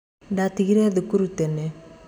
Ndatigire thukuru tene.